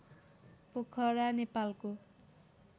पोखरा नेपालको